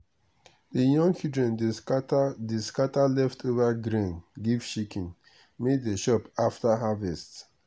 the young children dey scatter dey scatter leftover grain give chicken may dey chop after harvest.